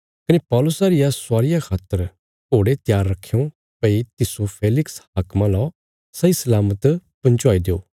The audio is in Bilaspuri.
कने पौलुसा रिया स्वारिया खातर घोड़े त्यार रखयों भई तिस्सो फेलिक्स हाक्मा ला सही सलामत पहुँचाई देओ